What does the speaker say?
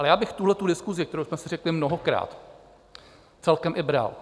Ale já bych tuhletu diskusi, kterou jsme si řekli mnohokrát, celkem i bral.